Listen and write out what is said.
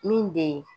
Min bɛ ye